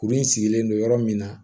Kurun in sigilen don yɔrɔ min na